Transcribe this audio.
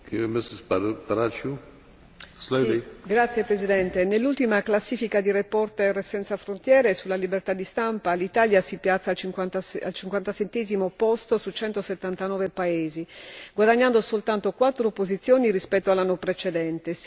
Signor Presidente, onorevoli colleghi, nell'ultima classifica di Reporter senza frontiere sulla libertà di stampa, l'Italia si piazza al cinquantasettesimo posto su 179 paesi, guadagnando soltanto quattro posizioni rispetto all'anno precedente.